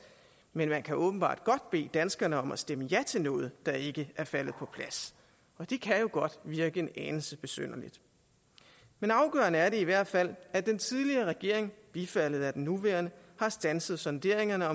men man kan åbenbart godt bede danskerne om at stemme ja til noget der ikke er faldet på plads det kan jo godt virke anelse besynderligt men afgørende er det i hvert fald at den tidligere regering bifaldet af den nuværende har standset sonderingerne